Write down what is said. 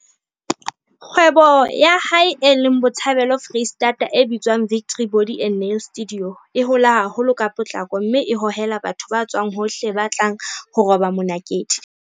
Kgwebo ya hae, e leng Botshabelo Freistata, e bitswang Victory Body and Nail Studio, e hola haholo ka potlako mme e hohela batho ba tswang hohle ba tlelang ho roba monakedi.